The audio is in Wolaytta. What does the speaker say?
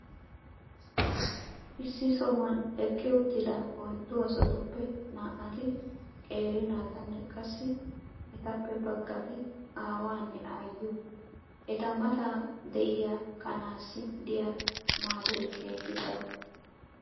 issi sohuwan eqqi uttida oyddu asatuppe naa"ati qeeri naatanne qassi etappe bagati aawaanne aayyiyo. eta mata diya kanaassi diyaa maadoy keehi daro.